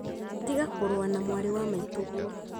tiga kũrũa na mwarĩ wa maitũguo